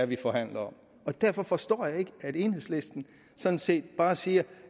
vi forhandler om derfor forstår jeg ikke at enhedslisten sådan set bare siger